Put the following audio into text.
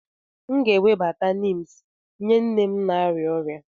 M ga-ewebata neems nye nne m na-arịa ọrịa.